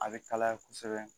A bɛ kalaya kosɛbɛ